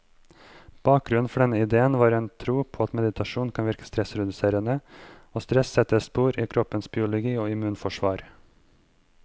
Bakgrunnen for denne idéen var en tro på at meditasjon kan virke stressreduserende, og stress setter spor i kroppens biologi og immunforsvar.